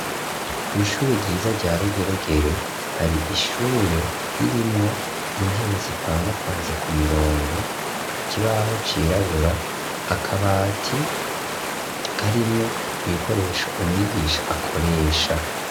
Kw'ishure ryiza, rya Rugeregere, hari ishure, ririmwo intebe, zipangapanze ku mirongo; ikibaho cirabura, akabati karimwo ibikoresho, umwigisha akoresha.